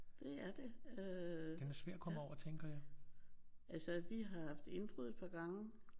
Det er det. Øh ja altså vi har haft indbrud et par gange